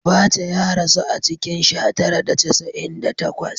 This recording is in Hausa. Abaca ya rasu a cikin sha tara da casa’in da takwas